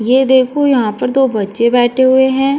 ये देखो यहाँ पर दो बच्चे बैठे हुए हैं।